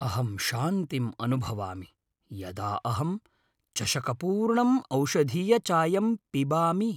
अहं शान्तिम् अनुभवामि यदा अहम् चषकपूर्णम् ओषधीयचायं पिबामि।